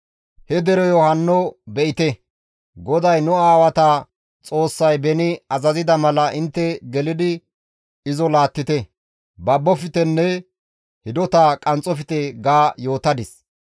He dereyo hanno be7ite! GODAY nu aawata Xoossay beni azazida mala intte gelidi izo laattite; baboftenne hidota qanxxofte› ga yootadis.